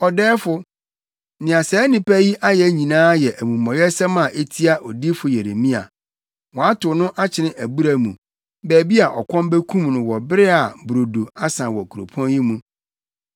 “Ɔdɛɛfo, nea saa nnipa yi ayɛ nyinaa yɛ amumɔyɛsɛm a etia odiyifo Yeremia. Wɔatow no akyene abura mu, baabi a ɔkɔm bekum no wɔ bere a brodo asa wɔ kuropɔn yi mu.”